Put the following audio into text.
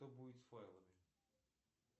что будет с файлами